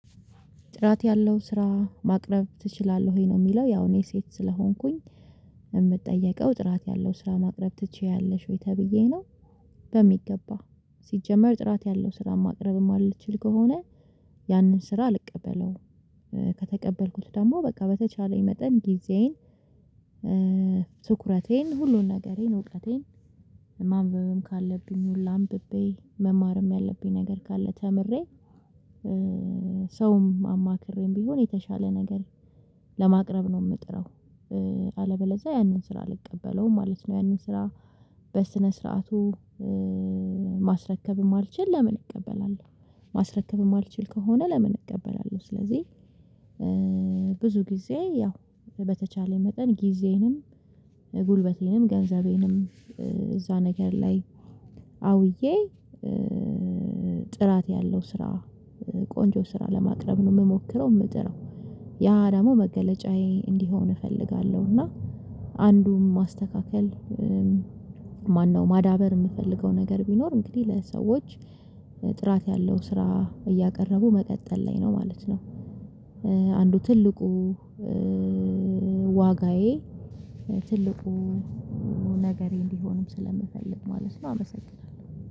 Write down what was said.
"ጥራት ያለው ስራ ማቅረብ ትችላለህ ወይ?" ነው የሚለው። ያው እኔ ሴት ስለሆንኩኝ፤ የምጠየቀው ጥራት ያለው ስራ ማቅረብ ትችያለሽ ወይ ተብዬ ነው። በሚገባ ሲጀመር ጥራት ያለው ስራ ማቅረብም የማልችል ከሆነ፤ ያንን ስራ አልቀበለውም። ከተቀበልኩት ደግሞ በቃ በተቻለኝ መጠን ጊዜዬን ትኩረቴን ሁሉን ነገሬን እውቀቴን ማንበብም ካለብኝ ሁላ አንብቤ መማርም ያለብኝ ነገር ካለ ተምሬ ሰውም አማክሬም ቢሆን የተሻለ ነገር ለማቅረብ ነው የምጥረው። አለበለዛ ያንን ስራ አልቀበለውም ማለት ነው። ያንን ስራ በስነ ስርዓቱ ማስረከብ የማልችል ለምን እቀበላለሁ። ማስረከብ የማልችል ከሆነ ለምን እቀበላለሁ። ስለዚህ ብዙ ጊዜ ያው በተቻለኝ መጠን ጊዜዬንም፣ ጉልበቴንም፣ ገንዘቤንም እዛ ነገር ላይ አውዬ ጥራት ያለው ስራ ቆንጆ ስራ ለማቅረብ ነው የምሞክረው የምጥረው። ያ ደግሞ መገለጫዬ እንዲሆን እፈልጋለሁ፤ እና አንዱም ማስተካከል ማነው ማዳበር የምፈልገው ነገር ቢኖር እንግዲህ ለሰዎች ጥራት ያለው ስራ እያቀረቡ መቀጠል ላይ ነው ማለት ነው። አንዱ ትልቁ ዋጋዬ፣ ትልቁ ነገሬ እንዲሆንም ስለምፈልግ ማለት ነው አመሰግናለሁ።